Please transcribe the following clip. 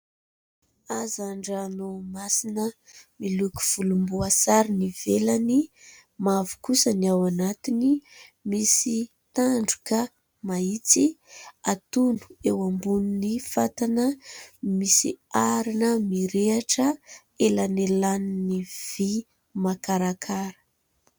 Hazan-dranomasina miloko volomboasary ny ivelany, mavo kosany ao anatiny misy tandroka mahitsy ; hatono eo ambonin'ny fatana misy arina mirehitra elanelanin'ny vy makarakara.